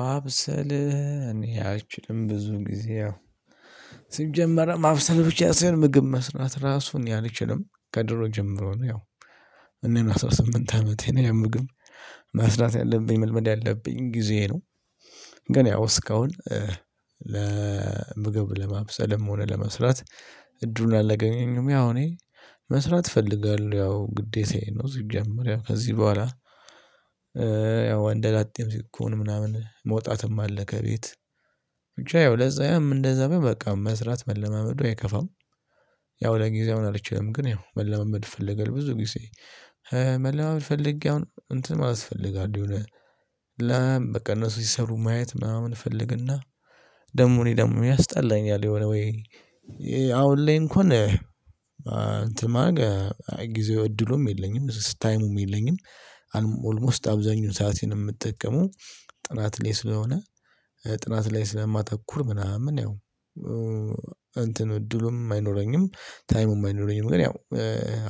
ማብሰል እኔ አይችልም። ብዙ ጊዜ ሲጀመር ማብሰል ብቻ ሳይሆን ምግብ መስራት ራሱ እኔ አልችልም። ከድሮ ጀምሮ ነው ያው እኔን አስራ ስምንት አመቴ ነ። ያ ያምግብ መስራት ያለብኝ መልመድ ያለብኝ ጊዜ ነው። ግን ያው እስካሁን ለምግብ ለማብሰልም ሆነ ለመስራት እድሉን አላገኘም። ያው እኔ መስራት እፈልጋለሁ ያው ግዴታዬ ነው ሲጀመር ያው ከዚህ በኋላ ያው ወንደላጤም ሲኮን ምናምን መውጣትም አለከ ቤት። ብቻ ያው ለዛ ያም እንደዛ በቃ መስራት መለማመዱ አይከፋም። ያው ለጊዜው ምን አልችልም። ግን ያው መለመድ አፈለገል ብዙ ጊዜ መለመድ ፈልጌ አሁን እንትን ማለት አስፈልጋል የሆነ ለም በቃ እነሱ ሲሰሩ ማየት ምናምን እፈልግና ደሞ እኔ ደሞን ያስጠላኛል የሆነ ወይ አሁን ላይ እንኳን አንተ ማግ ጊዜው እድሉም የለኝም። ታይሙም የለኝም። አልሞስት አብዛኛውን ሰዓት የምትጠቀመው ጥናት ላይ ስለሆነ ጥናት ላይ ስለማተኩር ምናምን ያው እንትን እድሉም አይኖረኝ። ታይሙም አይኖረኝም፣ ግን ያው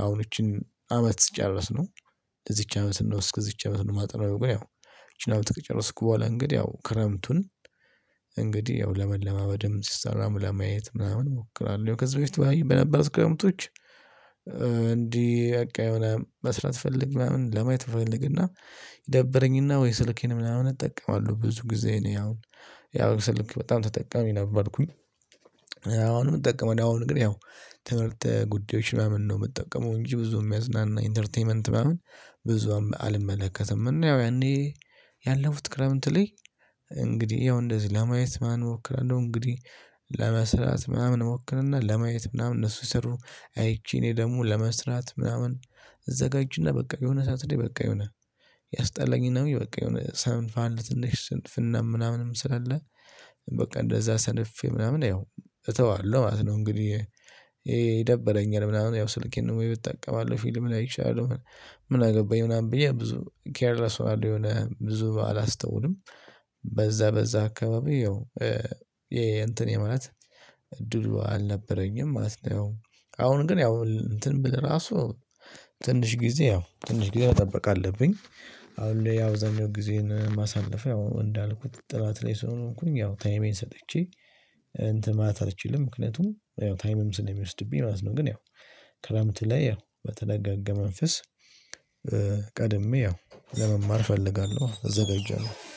አሁን ይቺን አመት ስጨርስ ነው። ለዚች አመት እስከዚች አመት ነው ማጠናው ግን ያው ይቺን አመት ከጨረስኩ በኋላ እንግዲህ ያው ክረምቱን እንግዲህ ያው ለመለማመድም ሲሰራ ለማየት ምናምን እሞክራለሁ። ከዚህ በፊት በነበሩት ክረምቶች እንዲህ በቃ የሆነ መስራት ፈልግ ምናምን ለማየት ፈልግና ይደበረኝና ወይ ስልኬን ምናምን እጠቀማለሁ። ብዙ ጊዜ እኔ አሁን ያው ስልክ በጣም ተጠቃሚ ነበርኩኝ። አሁንም አጠቀማለሁ። የአሁን ግን ያው ትምህርት ጉዳዮች ምናምን ነው የምጠቀመው። እንጂ ብዙ የሚያዝናና ኢንተርቴይመንት ምናምን ብዙ አልመለከትም። እና ያው ያኔ ያለፉት ክረምት ላይ እንግዲህ ያው እንደዚህ ለማየት ማናምን እሞክራለሁ። እንግዲህ ለመስራት ምናምን እሞክርና፤ ለማየት ምናምን እነሱ ሲሰሩ አይቼ፤ እኔ ደግሞ ለመስራት ምናምን እዘጋጅና፤ በቃ የሆነ ሰዓት ላይ በቃ የሆነ ያስጠላኝና፤ ወይ በቃ የሆነ ሰንፋን ትንሽ ስንፍና ምናምንም ስላለ በቃ እንደዛ ሰንፌ ምናምን ያው እተዋለሁ ማለት ነው። እንግዲህ ይደብረኛል ምናምን ያው ስልኬን ወይ ብጠቀማለሁ ፊልም ላይ እችላለሁ። ምናገባኝ ምናምን ብዬ ብዙ ኬርለስ እሆናለሁ የሆነ ብዙ አላስተውልም በዛ በዛ አካባቢ ያው የእንትኔ የማለት እድሉ አልነበረኝም ማለት ነው። ያው አሁን ግን ያው እንትን ብለ ራሱ ትንሽ ጊዜ ያው ትንሽ ጊዜ መጠበቅ አለብኝ። አሁን ላይ ያው አብዛኛው ጊዜን የማሳልፈው ያው እንዳልኩት ጥናት ላይ ስሆንኩኝ ያው ታይሜን ሰጥቼ እንትን ማት አልችልም ምክንያቱም ያው ታይምም ስለሚወስድብኝ ማለት ነው። ግን ያው ክረምት ላይ ያው በተረጋገ መንፈስ ቀድሜ ያው ለመማር እፈልጋለሁ። እዘጋጃለሁ።